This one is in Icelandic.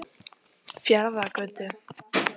Fjarðargötu